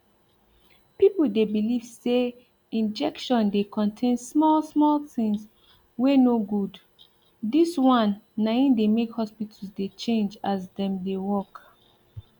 people de believe say injection de contain small small things wen no goodthis wan na him de make hospitals de chnage as dem de work